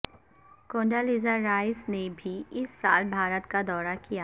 Konda Lisa Rice نے بھی اس سال بھارت کا دورہ کیا